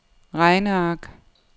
regneark